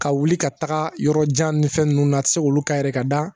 Ka wuli ka taga yɔrɔ jan ni fɛn ninnu na a tɛ se k'olu k'a yɛrɛ ye ka da